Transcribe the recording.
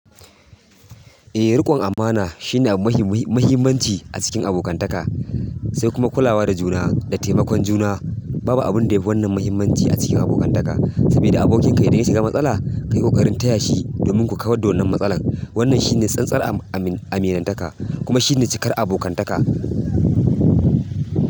Eh, riƙon amana shine abu mafi muhim-muhimanci a cikin abokantaka, sai kuma kulawa da juna da taimakon juna. Babu abin da ya fi wannan muhimmanci a cikin abokantaka, saboda abokinka idan ya shiga matsala, ka yi ƙoƙarin taya shi domin ku kawar da wannan matsalar. Wannan shine tsantsar aminantaka kuma shine cikar abokantaka.